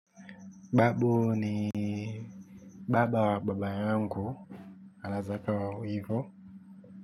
Babu ni baba wa baba yangu. Anaweza akawa hivo.